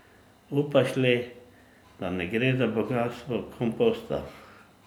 Upaš le, da ne gre za bogastvo komposta.